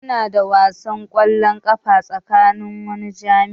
Muna da wasan kwallon kafa tsakanin wani jami'i.